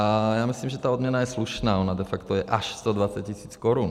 A já myslím, že ta odměna je slušná, ona de facto je až 120 tisíc korun.